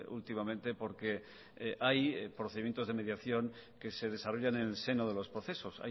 últimamente porque hay procedimientos de mediación que se desarrollan en el seno de los procesos